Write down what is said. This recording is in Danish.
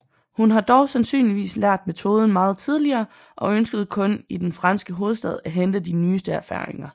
Hun har dog sandsynligvis lært metoden meget tidligere og ønskede kun i den franske hovedstad at hente de nyeste erfaringer